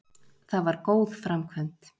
Það var góð framkvæmd.